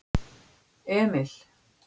Emil